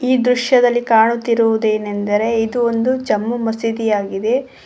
ಈ ದೃಶ್ಯದಲ್ಲಿ ಕಾಣುತ್ತಿರುವುದೇನೆಂದರೆ ಇದು ಒಂದು ಜಮ್ಮು ಮಸೀದಿ ಆಗಿರುತ್ತದೆ.